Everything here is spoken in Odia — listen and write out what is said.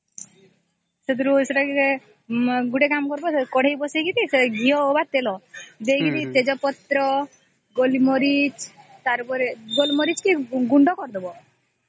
ସେଥିରେ ସେଟା ଗୋଟେ କାମ କରିବା କଢେଇ ବସେଇକି ଘିଅ ଅବା ତେଲ ଦେଇକିରି ତେଜ ପତ୍ର ଗୋଲ ମରିଚ ଗୋଲମରିଚ କେ ଗୁଣ୍ଡ କରି ଦବ